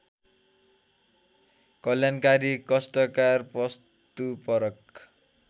कल्याणकारी कष्टकार वस्तुपरक